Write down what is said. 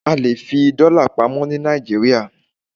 A lè fi dọ́là pamọ́ ní Nàìjíríà.